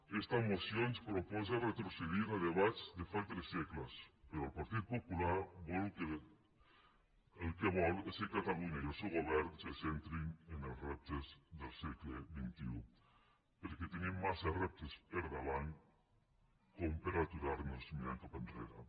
aquesta moció ens proposa retrocedir a debats de fa tres segles però el partit popular el que vol és que catalunya i el seu govern se centrin en els reptes del segle xxi perquè tenim massa reptes per davant per aturar nos mirant cap enrere